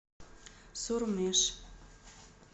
сурмеж